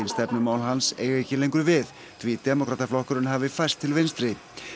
stefnumál hans eigi ekki lengur við því demókrataflokkurinn hafi færst til vinstri